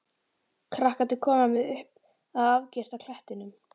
Krakkarnir koma með upp að afgirta klettinum.